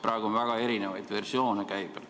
Praegu on väga erinevaid versioone käibel.